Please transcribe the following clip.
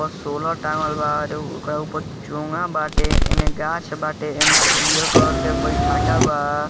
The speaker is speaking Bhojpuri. ऊपर सोलर टाँगल बा ओकरा ऊपर चौंगा बाटे एने गाछ बाटे एने पियर कलर के बैठाका बा।